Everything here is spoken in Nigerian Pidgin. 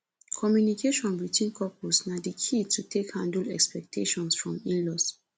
communication between couples na di key to take handle expectations from inlaws